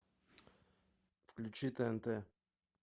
включи тнт